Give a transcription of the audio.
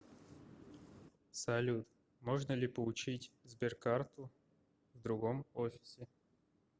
салют можно ли получить сберкарту в другом офисе